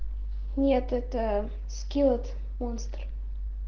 нет это скил монстр